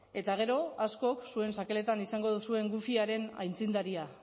eta gero askok zuen sakeletan izango duzuen wifiaren aitzindaria